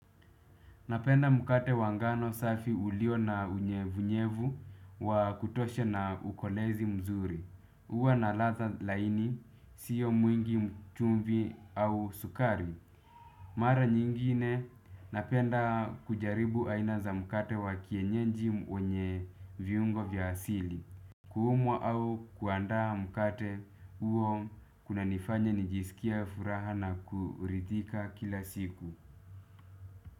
Napenda mkate wa ngano safi ulio na unyevunyevu wa kutosha na ukolezi mzuri. Huwa na ladha laini, sio mwingi chumvi au sukari. Mara nyingine, napenda kujaribu aina za mkate wa kienyeji wenye viungo vya asili. Kuumwa au kuandaa mkate huo kuna nifanya nijisikie furaha na kuridhika kila siku.